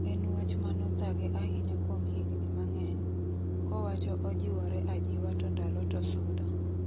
En wach mano thage ahinya kuom higni mang'eny ,kowacho ojiwore ajiwa to ndalo to sudo.